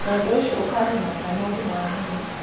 naũndũ ũcio, ũkarehe mathĩna ma ũgima wa mwĩrĩ.